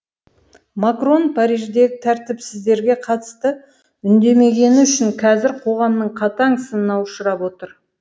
макрон париждегі тәртіпсіздіктерге қатысты үндемегені үшін қазір қоғамның қатаң сынына ұшырап отыр